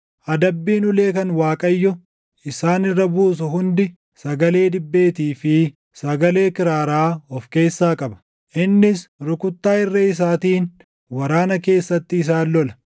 Adabbiin ulee kan Waaqayyo isaan irra buusu hundi sagalee dibbeetii fi sagalee kiraaraa of keessaa qaba; innis rukuttaa irree isaatiin waraana keessatti isaan lola.